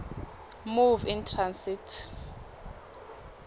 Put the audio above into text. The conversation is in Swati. move in transit